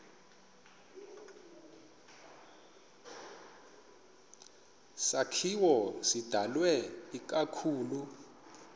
sakhiwo sidalwe ikakhulu